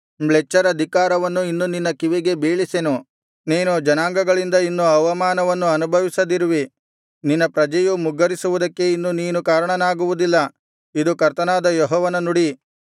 ಮ್ಲೇಚ್ಛರ ಧಿಕ್ಕಾರವನ್ನು ಇನ್ನು ನಿನ್ನ ಕಿವಿಗೆ ಬೀಳಿಸೆನು ನೀನು ಜನಾಂಗಗಳಿಂದ ಇನ್ನು ಅವಮಾನವನ್ನು ಅನುಭವಿಸದಿರುವಿ ನಿನ್ನ ಪ್ರಜೆಯು ಮುಗ್ಗರಿಸುವುದಕ್ಕೆ ಇನ್ನು ನೀನು ಕಾರಣನಾಗುವುದಿಲ್ಲ ಇದು ಕರ್ತನಾದ ಯೆಹೋವನ ನುಡಿ